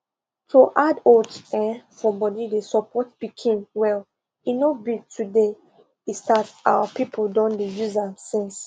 to add oats um for food dey support pikin well e no be today e start our people don dey use am since